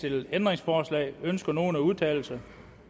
ændringsforslag ønsker nogen at udtale sig